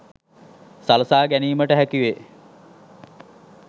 සලසා ගැනීමට හැකි වේ